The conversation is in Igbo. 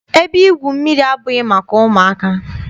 Ebe igwu mmiri abụghị maka ụmụaka.